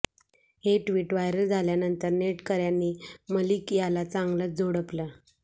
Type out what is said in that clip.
हे tweet viral झाल्यानंतर नेटकऱ्यांनी मलिक याला चांगलंच झोडपलं